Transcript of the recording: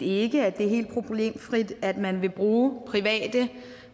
ikke at det er helt problemfrit at man vil bruge private